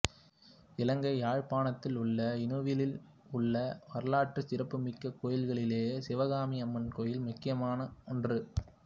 இலங்கை யாழ்ப்பாணத்திலுள்ள இணுவிலில் உள்ள வரலாற்றுச் சிறப்பு மிக்க கோயில்களிலே சிவகாமி அம்மன் கோயில் முக்கியமான ஒன்று